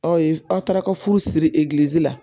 Aw ye aw taara ka furu siri la